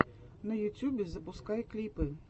на ютьюбе запускай клипы